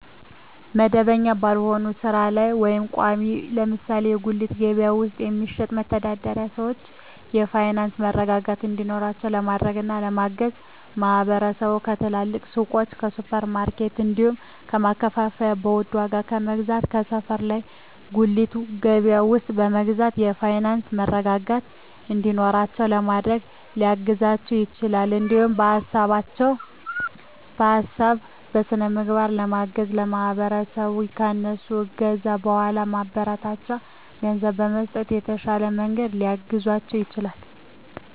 መደበኛ ባልሆነ ስራ ላይ ወይም ቋሚ (ለምሳሌ በጉሊት ገበያ ውስጥ በመሸጥ የሚተዳደሩ ሰዎችን የፋይናንስ መረጋጋት እንዲኖራቸው ለማድረግና ለማገዝ ማህበረሰቡ ከትልልቅ ሱቆች፣ ከሱፐር ማርኬቶች፣ እንዲሁም ከማከፋፈያዎች በውድ ዋጋ ከመግዛት ከሰፈር ባለ ጉሊት ገበያ ውስጥ በመግዛት የፋይናንስ መረጋጋት እንዲኖራቸው ለማድረግ ሊያግዛቸው ይችላል። እንዲሁም በሀሳብ በስነ ልቦና በማገዝ ማህበረሰቡ ከእነሱ ከገዛ በኃላ ማበረታቻ ገንዘብ በመስጠት በተሻለ መንገድ ሊያግዛቸው ይችላል።